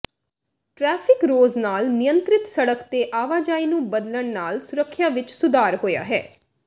traffic ਰੌਜ਼ ਨਾਲ ਨਿਯੰਤਰਿਤ ਸੜਕ ਤੇ ਆਵਾਜਾਈ ਨੂੰ ਬਦਲਣ ਨਾਲ ਸੁਰੱਖਿਆ ਵਿੱਚ ਸੁਧਾਰ ਹੋਇਆ ਹੈ